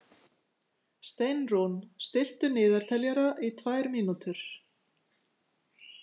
Steinrún, stilltu niðurteljara í tvær mínútur.